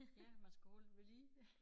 Ja man skal holde det ved lige